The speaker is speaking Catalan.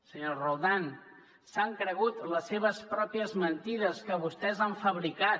senyora roldán s’han cregut les seves pròpies mentides que vostès han fabricat